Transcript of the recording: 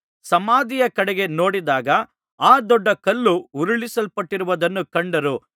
ಸಮಾಧಿಯ ಕಡೆಗೆ ನೋಡಿದಾಗ ಆ ದೊಡ್ಡ ಕಲ್ಲು ಉರುಳಿಸಲ್ಪಟ್ಟಿರುವುದನ್ನು ಕಂಡರು